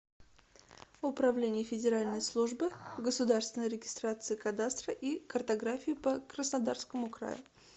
управление федеральной службы государственной регистрации кадастра и картографии по краснодарскому краю